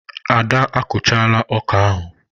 Ada a kụchaala ọkà ahụ.